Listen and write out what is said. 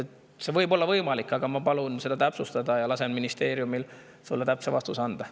See võib olla võimalik, aga ma palun seda täpsustada ja lasen ministeeriumil sulle täpse vastuse anda.